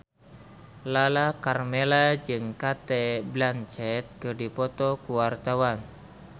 Lala Karmela jeung Cate Blanchett keur dipoto ku wartawan